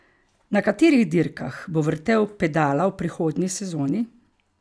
Na katerih dirkah bo vrtel pedala v prihodnji sezoni?